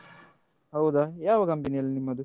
ಹೌದಾ ಯಾವ company ಅಲ್ಲಿ ನಿಮ್ಮದು?